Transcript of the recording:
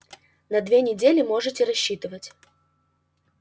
на две недели можете рассчитывать